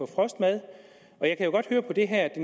frostmad og jeg kan godt høre på det her at